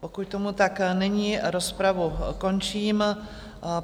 Pokud tomuto tak není, rozpravu končím.